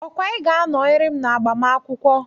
Okwa Ị ga-anọrị m n'agbamakwụkwọ?